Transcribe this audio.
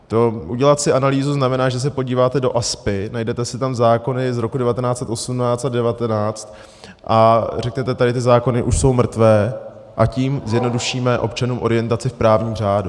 To udělat si analýzu znamená, že se podíváte do ASPI, najdete si tam zákony z roku 1918 a 1919 a řeknete, tady ty zákony už jsou mrtvé, a tím zjednodušíme občanům orientaci v právním řádu.